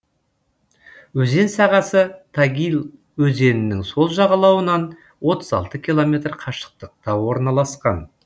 өзен сағасы тагил өзенінің сол жағалауынан отыз алты километр қашықтықта орналасқан